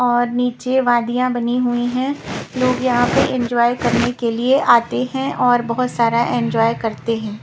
और नीचे वादियाँ बनी हुई हैं लोग यहाँ पे एंजॉय करने के लिए आते हैं और बहुत सारा एंजॉय करते हैं।